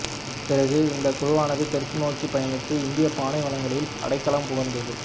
பிறகு இந்தக் குழுவானது தெற்கு நோக்கி பயணித்து இந்திய பாலைவனங்களில் அடைக்கலம் புகுந்தது